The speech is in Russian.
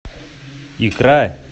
икра